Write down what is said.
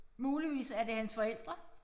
Muligvis er det hans forældre